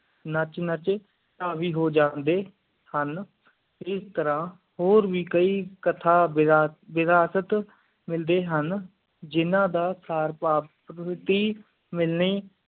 ਨਾਚ ਨਾਚ ਆਗੀ ਹੋ ਜੰਡੀ ਹਨ ਇਸ ਤਰਾਹ ਹੋਰ ਵੀ ਕਈ ਕਥਾ ਬਹਿਸ਼ਤ ਮਿਲੀ ਹਨ ਜਿੰਨਾ ਦਾ